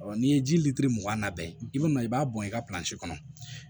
n'i ye ji litiri mugan labɛn i bi na i b'a bɔn i ka kɔnɔ